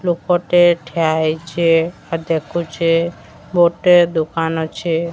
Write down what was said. ଲୋକଟେ ଠିଆ ହେଇଛି ହେ ଦେଖୁଚି ଗୁଟେ ଦୁକାନ ଅଛି।